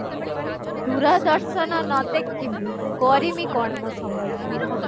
ଦୂରଦର୍ଶନ ନ ଦେଖିମି କରିମି କଣ ମୋ ସମୟ କୁ କହ?